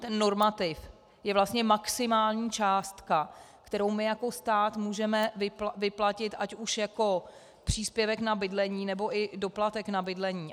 Ten normativ je vlastně maximální částka, kterou my jako stát můžeme vyplatit ať už jako příspěvek na bydlení, nebo i doplatek na bydlení.